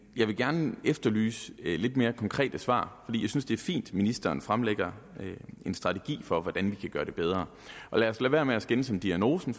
jeg vil gerne efterlyse lidt mere konkrete svar jeg synes det er fint at ministeren fremlægger en strategi for hvordan vi kan gøre det bedre og lad os lade være med at skændes om diagnosen